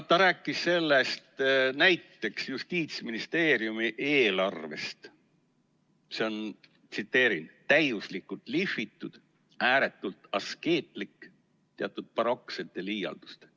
Ta rääkis näiteks Justiitsministeeriumi eelarvest ja ütles, et see on täiuslikult lihvitud, ääretult askeetlik, teatud baroksete liialdustega.